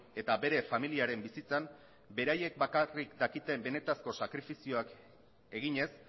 eta bere familiaren bizitzan beraiek bakarrik dakiten benetako sakrifizioak eginez